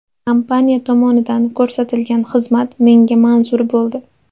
Kompaniya tomonidan ko‘rsatilgan xizmat menga manzur bo‘ldi.